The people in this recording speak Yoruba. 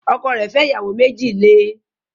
Ọkọ rẹ̀ fẹ́ ìyàwó méjì le